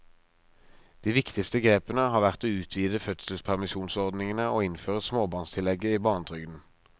De viktigste grepene har vært å utvide fødselspermisjonsordningene og innføre småbarnstillegget i barnetrygden.